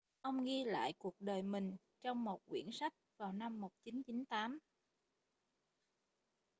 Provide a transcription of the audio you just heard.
ông ghi lại cuộc đời mình trong một quyển sách vào năm 1998